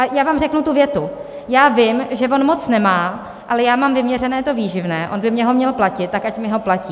A já vám řeknu tu větu: já vím, že on moc nemá, ale já mám vyměřené to výživné, on by mně ho měl platit, tak ať mi ho platí.